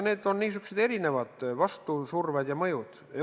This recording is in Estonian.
Need on niisugused erinevad vastusurved ja mõjud.